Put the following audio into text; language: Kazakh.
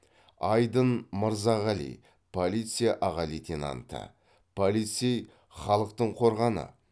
айдын мырзағали полиция аға лейтенанты полицей халықтың қорғаны